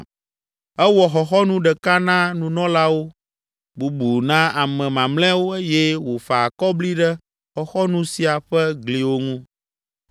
Ewɔ xɔxɔnu ɖeka na nunɔlawo, bubu na ame mamlɛawo eye wòfa akɔbli ɖe xɔxɔnu sia ƒe gliwo ŋu.